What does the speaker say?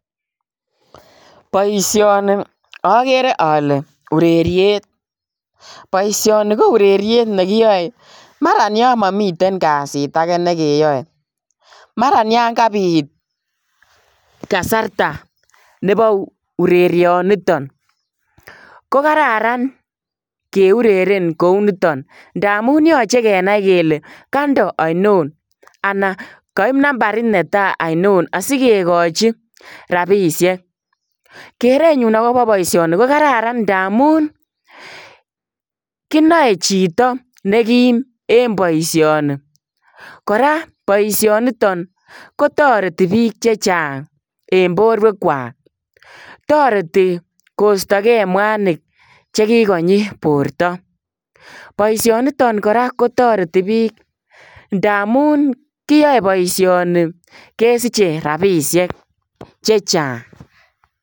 Boisioni agere ale ureriet boisioni ko ureriet nekiyae maran yaan mamiten kasiit agei neke yae maraa yaan kabiit kaaarta nebo urerian nitoon ko kararan keureren koi nitoon ndamuun yachei kenai kele kandoo ainoon anan kaib nambariit netai ainon asikekachii rapisheek keretnyuun agobo boisioni ko kararan ndamuun kinae chitoo ne kiim en boisioni kora boisioni nitoon ko taretii biik chechaang en boruek kwaak taretii koista gei mwanig che kikonyii borto boisioniton kora kotaretii biik ndamuun kiyae boisioni kesichei rapisheek chechaang.